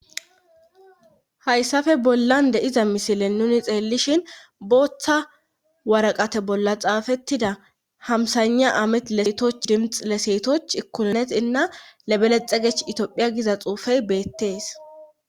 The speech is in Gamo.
Hayssafe bollan de iza misilen nuni xeellishin booththa waraqate bolla xaafettida hamsaygna amet leetoch dimx le seetoch ikulneonet inna lebelexegech itiophiya giza xuufey beettees